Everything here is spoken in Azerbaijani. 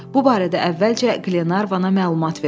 Bu barədə əvvəlcə Qlenarvana məlumat verdi.